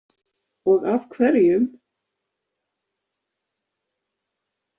Og af hverjum?